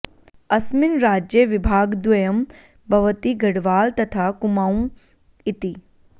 अस्मिन् राज्ये विभागद्वयं भवति गढवाल तथा कुमाऊं इति